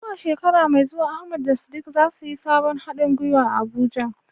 Zuwa shekara mai zuwa, Ahmad da Sadiq za su yi sabon hadin gwiwa a Abuja.